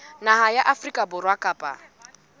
naha ya afrika borwa kapa